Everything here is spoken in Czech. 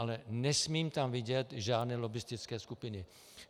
Ale nesmím tam vidět žádné lobbistické skupiny.